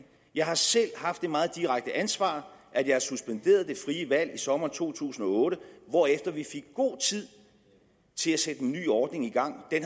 jeg har selv haft det meget direkte ansvar at jeg har suspenderet det frie valg i sommeren to tusind og otte hvorefter vi fik god tid til at sætte en ny ordning i gang den